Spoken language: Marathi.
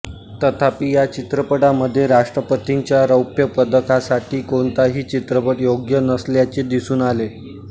तथापि या चित्रपटामध्ये राष्ट्रपतींच्या रौप्य पदकासाठी कोणताही चित्रपट योग्य नसल्याचे दिसून आले